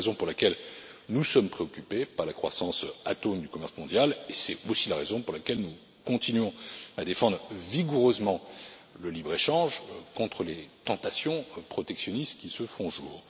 C'est la raison pour laquelle nous sommes préoccupés par la croissance atone du commerce mondial et c'est aussi la raison pour laquelle nous continuons à défendre vigoureusement le libre échange contre les tentations protectionnistes qui se font jour.